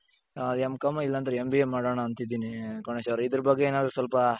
ಆ M.comಇಲ್ಲಾಂದ್ರೆ MBA ಮಾಡಣ ಅಂತಿದ್ದೀನಿ ಗಣೇಶ್ ಅವರೇ ಇದರ ಬಗ್ಗೆ ಏನಾದ್ರು ಸ್ವಲ್ಪ